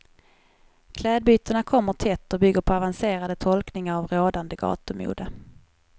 Klädbytena kommer tätt och bygger på avancerade tolkningar av rådande gatumode.